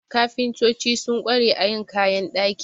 Kafintoci sun ƙware a yin kayan ɗaki.